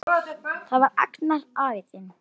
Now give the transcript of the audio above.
Það var Agnar afi þinn.